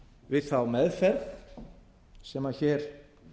við þá meðferð sem hér